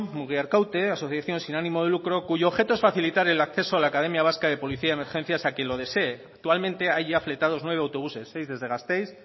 mugiarkaute asociación sin ánimo de lucro cuyo objeto es facilitar el acceso a la academia vasca de policía y emergencias a quien lo desee actualmente hay ya fletados nueve autobuses seis desde gasteiz